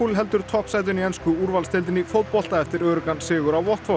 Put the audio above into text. heldur toppsætinu í ensku úrvalsdeildinni í fótbolta eftir öruggan sigur á